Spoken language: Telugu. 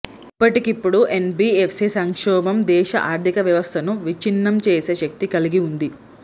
ఇప్పటికిప్పుడు ఎన్బి ఎఫ్సి సంక్షోభం దేశ ఆర్థిక వ్యవస్థను విచ్ఛిన్నంచేసే శక్తి కలిగివుంది